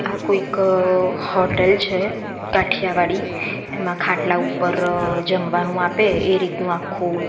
આ કોઈક હોટલ છે કાઠિયાવાડી એમાં ખાટલા ઉપર જમવાનું આપે એ રીતનું આખુ--